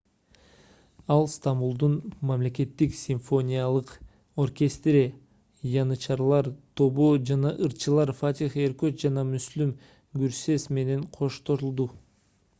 ал стамбулдун мамлекеттик симфониялык оркестри янычарлар тобу жана ырчылар фатих эркоч жана mүслүм гүрсес менен коштолду